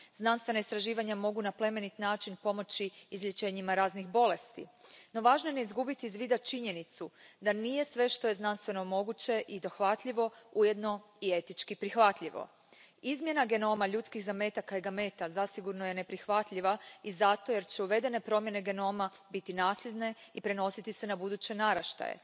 Znanstvena istraživanja mogu na plemenit način pomoći izlječenjima raznih bolesti, no važno je ne izgubiti iz vida činjenicu da nije sve što je znanstveno moguće i dohvatljivo, ujedno i etički prihvatljivo. Izmjena genoma ljudskih zametaka i gameta zasigurno je neprihvatljiva i zato jer će uvedene promjene genoma biti nasljedne i prenositi se na buduće naraštaje.